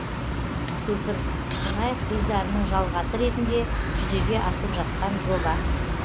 көпір қонаев гүлзарының жалғасы ретінде жүзеге асып жатқан жоба